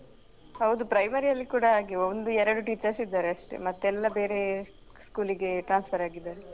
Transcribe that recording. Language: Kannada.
ಹೌದು primary ಅಲ್ಲಿ ಕೂಡ ಹಾಗೆ ಒಂದು ಎರಡು teachers ಇದ್ದಾರೆ ಅಷ್ಟೇ ಮತ್ತೆಲ್ಲ ಬೇರೆ school ಗೆ transfer ಆಗಿದ್ದಾರೆ.